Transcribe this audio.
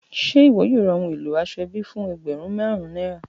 Ṣe iwọ yoo ra ohun elo asoebi fun ẹgbẹrun marun naira?